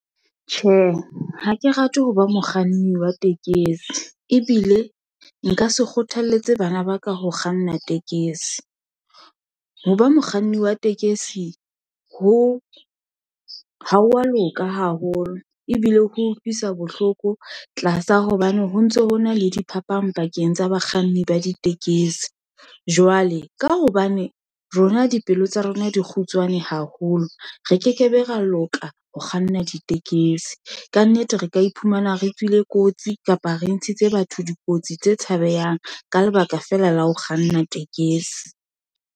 Tjhe, ha ke rate ho ba mokganni wa tekesi, ebile nka se kgothalletse bana ba ka ho kganna tekesi, ho ba mokganni wa tekesi ho ha wa loka haholo, ebile ho utlwisa bohloko tlasa hobane ho ntso ho na le diphapang pakeng tsa bakganni ba ditekesi. Jwale ka hobane rona dipelo tsa rona di kgutla tswane haholo, re kekebe ra loka ho kganna ditekesi. Kannete re ka iphumana re tswile kotsi, kapa re ntshitse batho dikotsi tse tshabehang. Ka lebaka fela la ho kganna tekesi.